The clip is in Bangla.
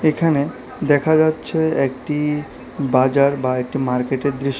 এখানে দেখা যাচ্ছে একটি বাজার বা একটি মার্কেটের দৃশ--